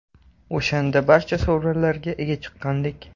O‘shanda barcha sovrinlarga ega chiqqandik.